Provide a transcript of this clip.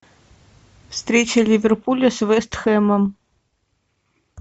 встреча ливерпуля с вест хэмом